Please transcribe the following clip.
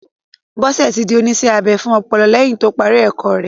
Bọ́sẹ̀ ti di oníṣẹ́-abẹ fún ọpọlọ lẹ́yìn to parí ẹ̀kọ́ rẹ.